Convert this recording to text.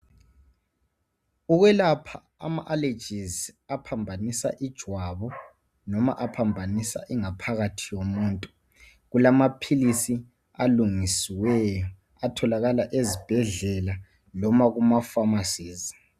Ukwelapha ama allergies aphambanisa ijwabu noma aphambanisa ingaphakathi yomuntu , kulamaphilisi alungisiweyo atholakala ezibhedlela loba kuma pharmacies